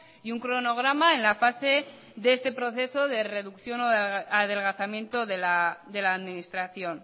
y un cronograma en la fase de este proceso de reducción o adelgazamiento de la administración